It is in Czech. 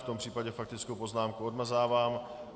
V tom případě faktickou poznámku odmazávám.